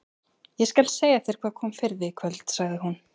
Ég skal segja þér hvað kom fyrir þig í kvöld, sagði hún.